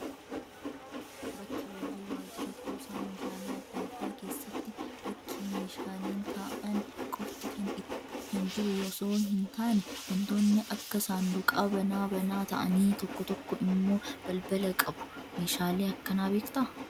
Bskks hojii waajjira kuusaa meeshaalee adda addaa keessatti bakki meeshaaleen taa'an qofti kan jiru osoo hin taane, wantoonni akka saanduqaa banaa banaa ta'anii fi tokko tokko immoo balbala qabu. Meeshaalee akkanaa beektaa?